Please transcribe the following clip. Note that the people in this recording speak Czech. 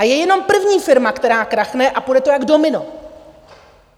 A je jenom první firma, která krachne, a půjde to jak domino.